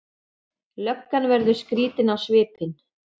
Löggan verður skrýtin á svipinn.